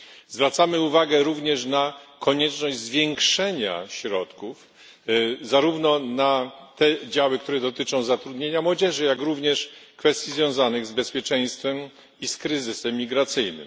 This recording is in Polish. Zwracamy również uwagę na konieczność zwiększenia środków zarówno na te działy, które dotyczą zatrudnienia młodzieży, jak i na kwestie związane z bezpieczeństwem i z kryzysem migracyjnym.